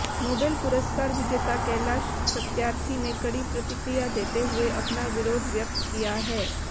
Nobel पुरस्कार विजेता कैलाश सत्यार्थी ने कड़ी प्रतिक्रिया देते हुए अपना विरोध व्यक्त किया है